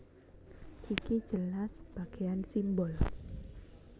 Iki jelas bagéan simbol